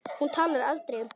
Hún talar aldrei um barnið.